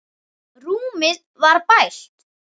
Rúmið var bælt.